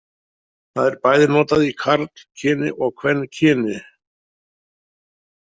Það er bæði notað í karlkyni og kvenkyni.